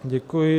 Děkuji.